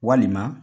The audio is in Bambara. Walima